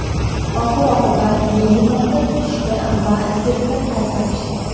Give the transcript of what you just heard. Oxir-oqibat begemotni tutishdi va sirkka qaytarishdi.